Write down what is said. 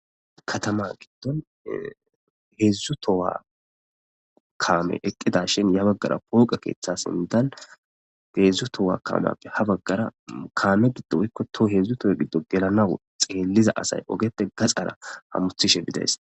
Katama giddon heedzdzu towa kaame eqqida shin ya baggara pooqa keeththa sindal deedzdzu towa kaameappe ha baggara kaame giddo ykkoto heedzdzu towe giddo gelanaw xeelliza asay ogeppe gaxara hamuthishe bidays.